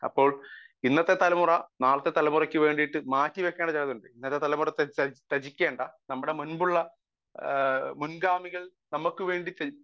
speaker 1 അപ്പോൾ ഇന്നത്തെ തലമുറ നാളത്തെ തലമുറക്കെ വേണ്ടിയിട്ട് മാറ്റിവെക്കേണ്ട ചിലതുണ്ട് നമ്മുടെ മുൻപുള്ള മുൻഗാമികൾ നമുക്ക് വേണ്ടി